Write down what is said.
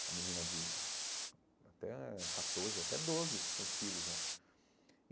Uma menina de até catorze, até doze, tem filho já.